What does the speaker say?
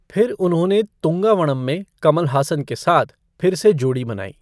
फिर उन्होंने तूंगा वणम में कमल हासन के साथ फिर से जोड़ी बनाई।